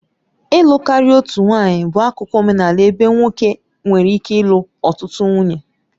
Ịlụ karịa otu nwanyị bụ akụkụ omenala ebe nwoke nwere ike ịlụ ọtụtụ nwunye.